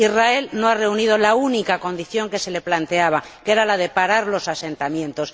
Israel no ha reunido la única condición que se le planteaba, que era la de parar los asentamientos.